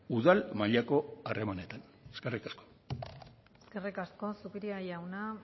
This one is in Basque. udal mailako harremanetan eskerrik asko eskerrik asko zupiria jauna